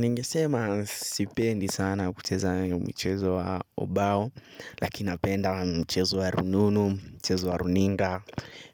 Ningesema sipendi sana kucheza mchezo wa ubao. Lakini napenda mchezo wa rununu, mchezo wa runinga.